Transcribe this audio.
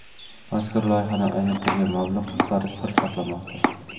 Mazkur loyihaga ajratilgan mablag‘ miqdori sir saqlanmoqda.